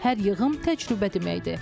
Hər yığım təcrübə deməkdir.